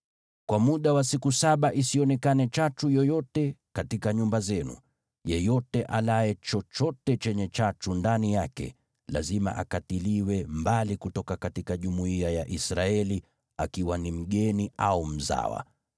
Kwa muda wa siku saba isionekane chachu yoyote katika nyumba zenu. Yeyote alaye chochote chenye chachu ndani yake, lazima akatiliwe mbali kutoka jumuiya ya Israeli, akiwa ni mgeni au mzawa.